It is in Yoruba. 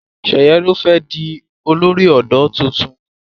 Sheye ló fé di olórí odò títún